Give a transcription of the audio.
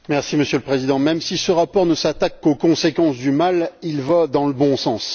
Monsieur le Président, même si ce rapport ne s'attaque qu'aux conséquences du mal, il va dans le bon sens.